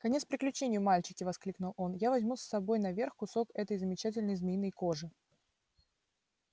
конец приключению мальчики воскликнул он я возьму с собой наверх кусок этой замечательной змеиной кожи